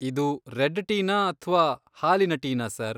ಇದು ರೆಡ್ ಟೀನಾ ಅಥ್ವಾ ಹಾಲಿನ ಟೀನಾ ಸರ್?